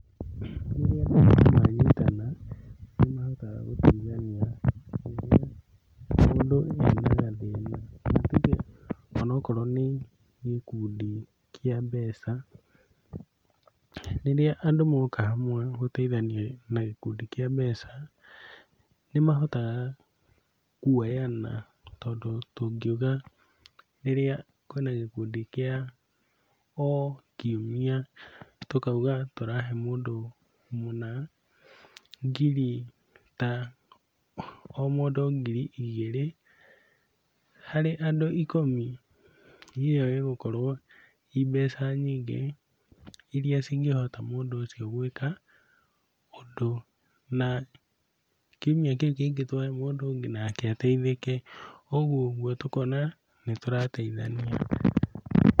Rĩrĩa andũ manyitana, nĩmahotaga gũteithania mũndũ ena gathĩna ta tuge onakorwo nĩ gũkundi kĩa mbeca. Rĩrĩa andũ moka hamwe na gũteithania na gĩkundi kĩa mbeca nĩmahotaga kuoyana tondũ tũngiuga rĩrĩa kwĩna gĩkundi kĩa o kiumia tũkauga tũrahe mũndũ mũna ngiri ta o mũndũ ngiri igĩrĩ, harĩ andũ ikũmi ĩyo ĩgũkorwo i mbeca nyingĩ iria cingĩhota mũndũ ũcio gwĩka ũndũ na kiumia kĩu kĩngĩ twahe mũndũ ũngĩ nake ateithĩke, ũguo ũguo tũkona nĩtũrateithania.